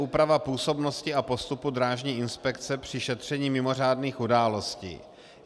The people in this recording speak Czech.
Úprava působnosti a postupu drážní inspekce při šetření mimořádných událostí.